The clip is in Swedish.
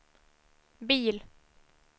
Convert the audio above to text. bil